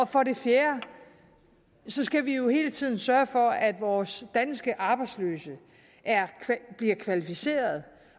for det fjerde skal vi jo hele tiden sørge for at vores danske arbejdsløse bliver kvalificeret